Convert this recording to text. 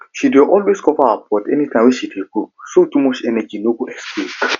she dey always cover her pot anytime she dey cook so too much energy no go escape